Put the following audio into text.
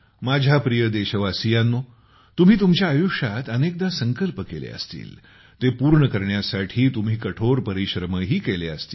माझ्या प्रिय देशवासियांनो तुम्ही तुमच्या आयुष्यात अनेकदा संकल्प केले असतील ते पूर्ण करण्यासाठी तुम्ही कठोर परिश्रमही केले असतील